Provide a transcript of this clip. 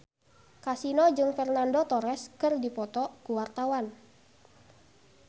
Kasino jeung Fernando Torres keur dipoto ku wartawan